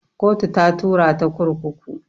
Kotu ta tura ta kurkuku